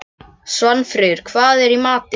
Svanfríður, hvað er í matinn?